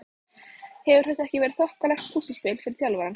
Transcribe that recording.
Hefur þetta ekki verið þokkalegt púsluspil fyrir þjálfarann?